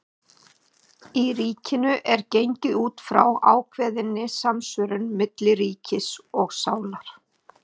Í Ríkinu er gengið út frá ákveðinni samsvörun milli ríkis og sálar.